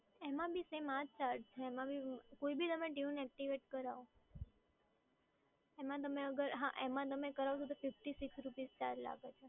એમાં બી same આ જ ચાર્જ છે એમાં બી, કોઈ બી તમે ટયુન એક્ટિવેટ કરાવો, હા એમાં તમે કરાવશો તો fifty six rupees ચાર્જ લાગે છે